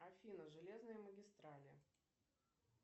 афина железные магистрали